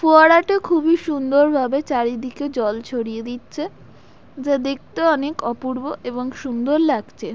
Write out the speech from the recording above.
ফোয়ারাটা খুবই সুন্দর ভাবে চারিদিকে জল ছড়িয়ে দিচ্ছে। যা দেখতে অনেক অপূর্ব এবং সুন্দর লাগছে।